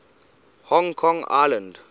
hong kong island